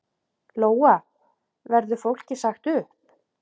Lóa: Verður fólki sagt upp?